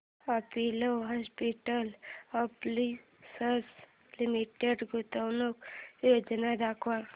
Apollo hospitals enterprise limited गुंतवणूक योजना दाखव